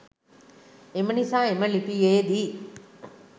එම නිසා එම ලිපියේදී